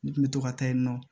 N kun bɛ to ka taa yen nɔ